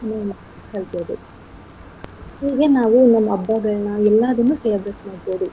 ಕಲ್ತಿರ್ಬೇಕು ಹೀಗೆ ನಾವು ಹಬ್ಬಗಳ್ನ ಎಲ್ಲಾದನ್ನು ಸೇರ್ಬಿಟ್ ಮಾಡ್ಬೋದು.